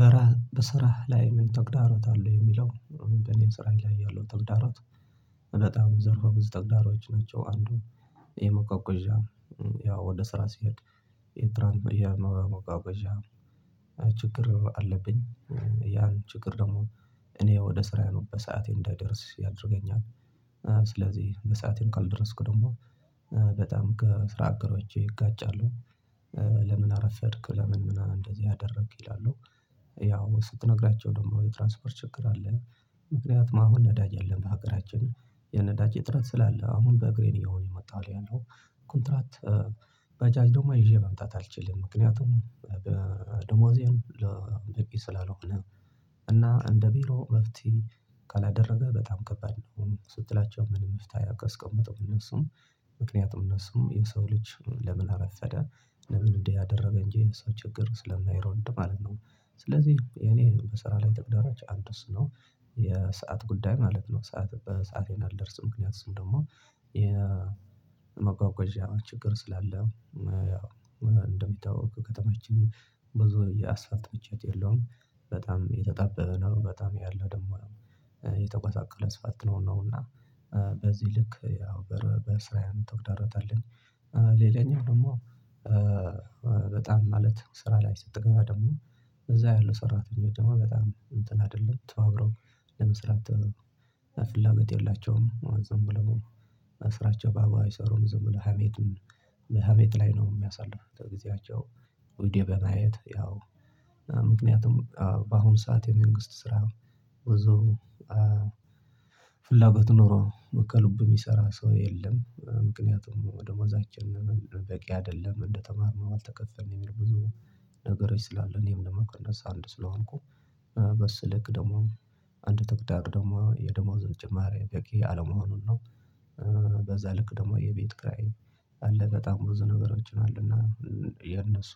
በረሃ በስራህ ላይ ምን ተግዳሮት አለው የሚለው እንደ እኔ ስራ ላይ ያለው ተግዳሮት ዘርፈ ብዙ ተግዳሮቾች ናቸው። አንዱ የመጓጓዣ ያው ወደ ስራ ሲሄድ። የመጓጓዣ ችግር አለብኝ ያን ችግር ደግሞ እኔ ወደ ስራዬ ነው በሰአቴ እንዳይደርስ ያደርገኛል። ስለዚህ በሰአቴን ካልደረስኩ ደግሞ በጣም ከስራ አጋሮቼ እጋጫሉ ለምን አረፈድክ ለምን ምናምን እንደዚህ አደረክ ይላሉ? ያው ስትነግራቸው ደግሞ የትራንስፖርት ችግር አለን ምክንያቱም አሁን ነዳጅ የለም በሀገራችን የነዳጅ እጥረት ስላለ አሁን በእግሬ ነው እየሆነ የመጣሁት ያለው። ኮንትራት ባጃጅ ደግሞ ይዤ መምጣት አልችልም። ምክንያቱም ደሞዜም በቂ ስላልሆነ እና እንደ ቢሮ መፍትሄ ካላደረገ በጣም ከበድ ነው። ስትላቸው ምንም መፍታሄ አያስቀምጡም እነሱም ምክንያቱም እነሱም የሰው ልጅ ለምን አረፈደ ለምን እንዲህ አደረገ እንጂ የሰው ችግር ስለማይረዱ ማለት ነው። ስለዚህ እኔ በስራ ላይ ተግዳሮች አንዱ እሱ ነው የሰዓት ጉዳይ ማለት ነው። ሰዓት በሰአቴ አልደርስም ያ ስል ደግሞ የመጓጓዣ ችግር ስላለ ያው እንደሚታወቀወ ከተማችን ብዙ የአስፉልት ምቾት የለውም። በጣም የተጣበበ ነው በጣም ያለው ደግሞ የተጎሳቆለ እስፋልት ነው። እና በዚህ ልክ ያው በስራዬ አንድ ተግዳሮት አለኝ። ሌላኛው ደግሞ በጣም ማለት ስራ ላይ ስትገባ ደግሞ እዛ ያለው ሰራተኞች ደግሞ በጣም እንትን አይደሉም ተባብረው ለመስራት ፍላጎት የላቸውም። ዝም ብለው ስራቸው በአግባቡ አይሰሩም ዝም ብለው ሀሜት በሀሜት ላይ ነው የሚያሳልፉት። ቪድዬ በማየት ያው ምክንያቱም በአሁኑ ሰዓት የመንግስት ስራ ብዙ ፍላጎት ኖሮ ከልቡ የሚሰራ ሰው የለም ምክንያቱም ደሞዛችን በቂ አይደለም። እንደተማርነው አልተቀጠረንም ብዙ ነገሮች ስላሉ እኔም ደግሞ ከነሱ አንዱ ስለሆንኩ በሱ ልክ ደግሞ አንዱ ተግዳሩ ደግሞ የደሞዝ ጭማሪ በቂ አለመሆኑን ነው። በዛ ልክ ደግሞ የቤት ኪራይ አለ በጣም ብዙ ነገሮች አሉ እና የነሱ